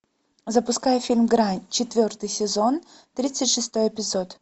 запускай фильм грань четвертый сезон тридцать шестой эпизод